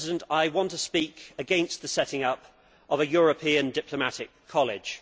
I want to speak against the setting up of a European diplomatic college.